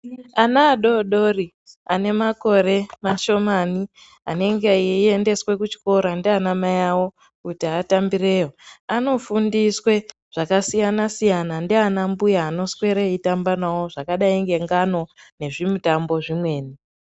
Ana adodori anemakore mashomani anenge eiendeswe kuchikora ndiana mai awo, kuti atambireyo anofundiswe zvakasiyana-siyana ndiana muya anoswere eitamba navo zvakadai nengano nezvimitambo zvimweni.